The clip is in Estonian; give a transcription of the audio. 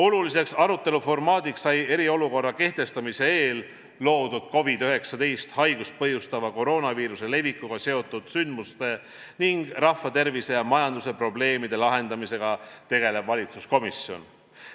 Oluliseks aruteluformaadiks sai eriolukorra kehtestamise eel loodud COVID-19 haigust põhjustava koroonaviiruse levikuga seotud sündmuste ning rahvatervise ja majanduse probleemide lahendamisega tegelev valitsuskomisjon.